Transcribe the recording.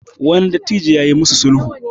wani dattijo ya yi musu sulhu